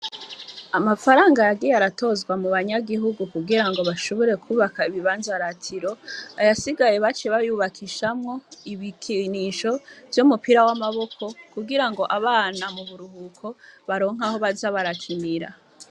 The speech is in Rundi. Amafaranga yagiye aratozwa mu banyagihugu kugira ngo bashobure kubaka ibibanza ratiro ayasigaye bace bayubakishamwo ibikinisho vyo mupira w'amaboko kugira ngo abana mu buruhuko baronka aho baza baracimira.